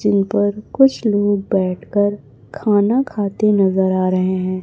Gene पर कुछ लोग बैठकर खाना खाते नजर आ रहे हैं।